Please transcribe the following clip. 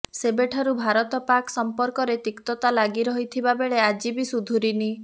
ସେବେଠାରୁ ଭାରତ ପାକ୍ ସମ୍ପର୍କରେ ତିକ୍ତତା ଲାଗି ରହିଥିବା ବେଳେ ଆଜିବି ସୁଧୁରିନି